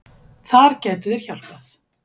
Þar gætu þeir hjálpað.